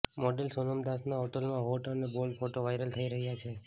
model Sonam દાસના હાલમાં hot અને બોલ્ડ ફોટો વાયરલ થઈ રહ્યા છે